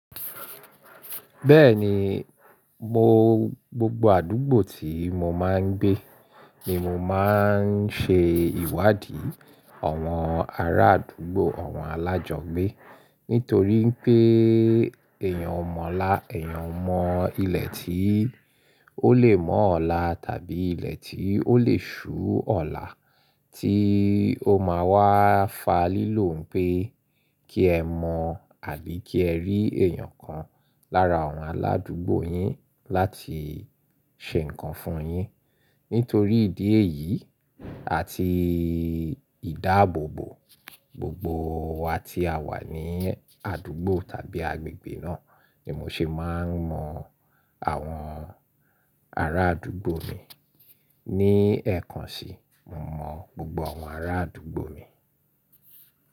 Bẹ́ẹ̀ni, mo gbogbo àdúgbò tí mo máa ń gbé ni mo máa ń ṣe ìwádìí àwọn ará àdúgbò, àwọn alájọgbé. Nítorí pé èèyàn mọ̀ ọ́ lá, èèyàn mọ ilẹ̀ tí ó lè mọ́ ọ̀la tàbí ilẹ̀ tí ó lè ṣú ọ̀la tí ó máa wá fa lílò pé kí ẹ mọ̀ àbí kí ẹ rí èèyàn kan lára àwọn aládúgbò yín láti ṣe nǹkan fún yín. Nítorí ìdí èyí àti ìdáàbòbò, gbogbo wa tí a wà ní àdúgbò tàbí agbègbè náà ni mo ṣe máa ń mọ àwọn ará àdúgbò mi. Ní ẹ̀ẹ̀kan sí i, mo mọ gbogbo àwọn ará àdúgbò mi.